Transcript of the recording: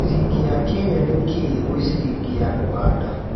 ciringi ya Kenya nĩ kĩĩ gwĩ ciringi ya Uganda